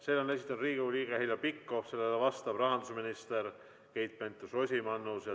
Selle esitab Riigikogu liige Heljo Pikhof ja sellele vastab rahandusminister Keit Pentus-Rosimannus.